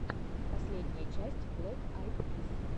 последняя часть блэк айд пис